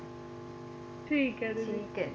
ਠੀਕ ਹੈ ਦੀਦੀ ਠੀਕ ਹੈ